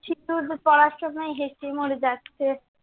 হেসেই মরে যাচ্ছে।